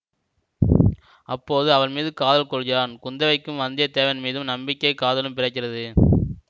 அப்போது அவள் மீது காதல் கொள்கிறான் குந்தவைக்கும் வந்திய தேவன் மீது நம்பிக்கை காதலும் பிறக்கிறது